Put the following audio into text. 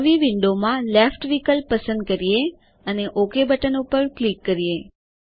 નવી વિન્ડોવમાંLeft વિકલ્પ પસંદ કરીએઅને ઓક બટન ઉપર ક્લિક કરીએ